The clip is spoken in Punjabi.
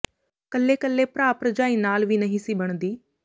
ਕੱਲੇ ਕੱਲੇ ਭਰਾ ਭਰਜਾਈ ਨਾਲ ਵੀ ਨਹੀ ਸੀ ਬਣਦੀ